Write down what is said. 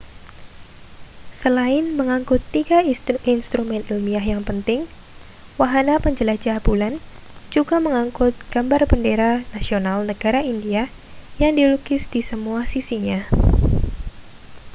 selain mengangkut 3 instrumen ilmiah yang penting wahana penjelajah bulan juga mengangkut gambar bendera nasional negara india yang dilukis di semua sisinya